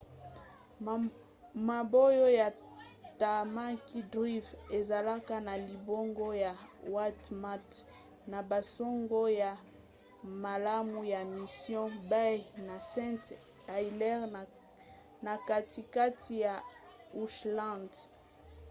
mabongo ya tamaki drive ezalaka na libongo ya waitemata na basonge ya malamu ya mission bay na st heliers na katikati ya auckland